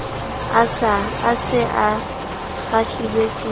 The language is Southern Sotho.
a se a kgahlilwe ke